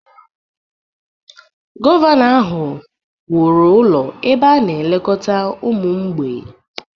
Gọvanọ ahụ wuru ụlọ ebe a na-elekọta ụmụ mgbei.